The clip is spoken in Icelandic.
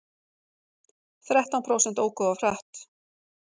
Þrettán prósent óku of hratt